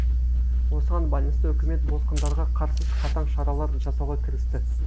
осыған байланысты үкімет босқындарға қарсы қатаң шаралар жасауға кірісті